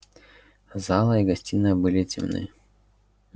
зала и гостиная были темны